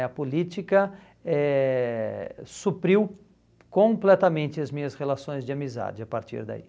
A política eh supriu completamente as minhas relações de amizade a partir daí.